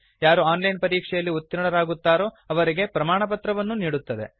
ಯಾರು online ಪರೀಕ್ಷೆಯಲ್ಲಿ ಉತೀರ್ಣರಾಗುತ್ತಾರೋ ಅವರಿಗೆ ಪ್ರಮಾಣಪತ್ರವನ್ನೂ ನೀಡುತ್ತದೆ